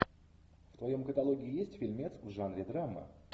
в твоем каталоге есть фильмец в жанре драмы